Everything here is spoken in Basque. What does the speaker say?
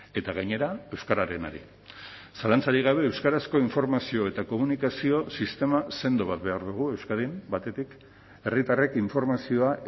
eta gainera euskararenari zalantzarik gabe euskarazko informazio eta komunikazio sistema sendo bat behar dugu euskadin batetik herritarrek informazioa